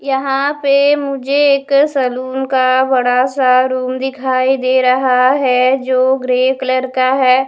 यहाँ पे मुझे एक सलून का बड़ा सा रूम दिखाई दे रहा है जो ग्रे कलर का है ।